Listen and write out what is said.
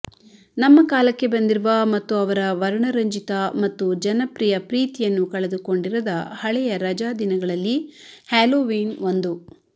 ನಮ್ಮ ಕಾಲಕ್ಕೆ ಬಂದಿರುವ ಮತ್ತು ಅವರ ವರ್ಣರಂಜಿತ ಮತ್ತು ಜನಪ್ರಿಯ ಪ್ರೀತಿಯನ್ನು ಕಳೆದುಕೊಂಡಿರದ ಹಳೆಯ ರಜಾದಿನಗಳಲ್ಲಿ ಹ್ಯಾಲೋವೀನ್ ಒಂದು